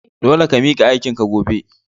Dole ka mika aikin ka gobe!